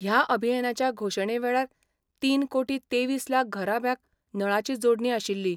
ह्या अभियानाच्या घोषणेवेळार तीन कोटी तेवीस लाख घराब्यांक नळाची जोडणी आशिल्ली.